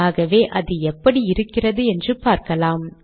ஆகவே அது எப்படி இருக்கிறது என்று பார்க்கலாம்